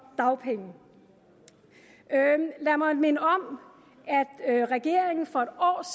dagpenge lad mig minde om at regeringen for et år